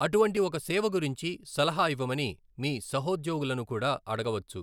అటువంటి ఒక సేవ గురించి సలహా ఇవ్వమని మీ సహోద్యోగులను కూడా అడగవచ్చు.